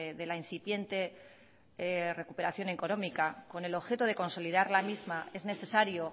de la incipiente recuperación económica con el objeto de consolidar la misma es necesario